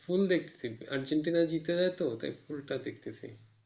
full দেখতেছি Argentina জিতে নাই তো তাই full টা দেখতেছি।